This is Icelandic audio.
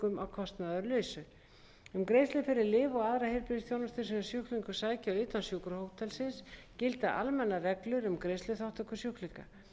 kostnaðarlausu um greiðslur fyrir lyf og aðra fyrir heilbrigðisþjónustu sem sjúklingar sækja utan sjúkrahótelsins gilda almennar reglur um greiðsluþátttöku sjúklinga